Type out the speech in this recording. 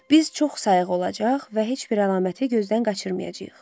Biz çox sayıq olacaq və heç bir əlaməti gözdən qaçırmayacağıq.